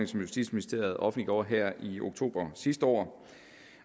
som justitsministeriet offentliggjorde her i oktober sidste år